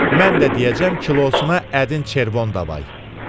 Mən də deyəcəm kilosuna ədin çervon davay.